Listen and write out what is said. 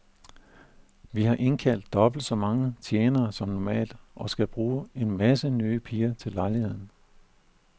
Vi har indkaldt dobbelt så mange tjenere som normalt, og skal bruge en masse nye piger til lejligheden.